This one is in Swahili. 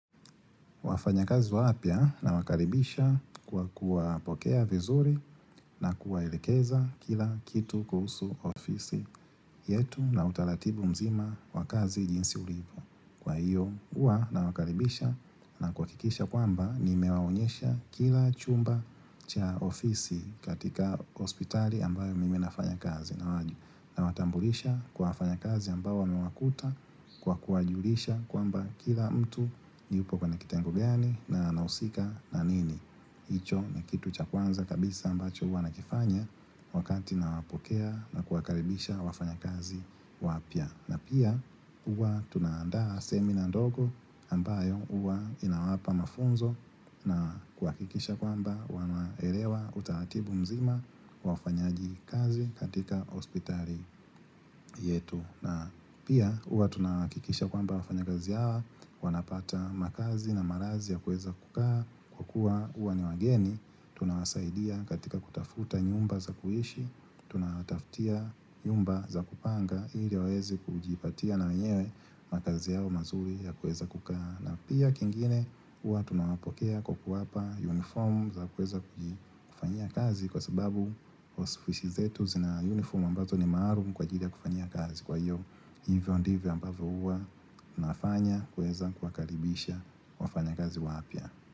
Wafanyakazi wapya nawakaribisha kwa kuwa pokea vizuri na kuwa elekeza kila kitu kuhusu ofisi yetu na utalatibu mzima wa kazi jinsi ulivyo. Kwa hiyo huwa na wakaribisha na kwa kuhakikisha kwamba nimewaonyesha kila chumba cha ofisi katika hospitali ambayo mimi nafanya kazi na watu nawatambulisha kwa wafanya kazi ambao wamewakuta kwa kuwajulisha kwamba kila mtu yupo kwenye kitengo gani na anahusika na nini hicho ni kitu cha kwanza kabisa ambacho huwa nakifanya wakati nawapokea na kuwakaribisha wafanya kazi wapya na pia huwa tunaandaa semina ndogo ambayo huwa inawapa mafunzo na kuhakikisha kwamba wanaelewa utaratibu mzima wa ufanyaji kazi katika hospitali yetu. Na pia uwa tunakikisha kwamba wafanya gazi hawa, wanapata makazi na marazi ya kuweza kukaa, kwa kuwa huwa ni wageni, tunawasaidia katika kutafuta nyumba za kuishi, tunawatafutia nyumba za kupanga ili waweze kujipatia na wenyewe makazi yao mazuri ya kuweza kukaa. Na pia kingine huwa tunawapokea kwa kuwapa uniform za kuweza kujifanyia kazi Kwa sababu ofisi zetu zina uniform ambazo ni maalum kwajili ya kufanyia kazi Kwa hiyo hivyo ndivyo ambavyo huwa nafanya kuweza kuwakaribisha wafanyakazi wapya.